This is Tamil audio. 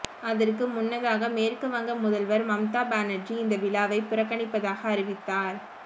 அதற்கு முன்னதாக மேற்கு வங்க முதல்வர் மம்தா பானர்ஜி இந்த விழாவை புறக்கணிப்பதாக அறிவித்தார்